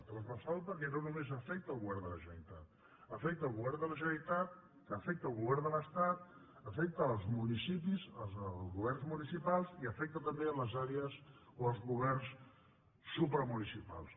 transversal perquè no només afecta el govern de la generalitat afecta el govern de la generalitat afecta el govern de l’estat afecta els municipis els governs municipals i afecta també les àrees o els governs supramunicipals